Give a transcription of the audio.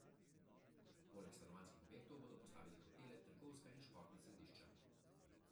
Poleg stanovanjskih objektov bodo postavili hotele, trgovska in športna središča.